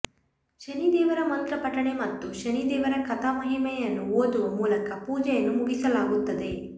ಶನಿ ದೇವರ ಮಂತ್ರ ಪಠಣೆ ಮತ್ತು ಶನಿ ದೇವರ ಕಥಾ ಮಹಿಮೆಯನ್ನು ಓದುವ ಮೂಲಕ ಪೂಜೆಯನ್ನು ಮುಗಿಸಲಾಗುತ್ತದೆ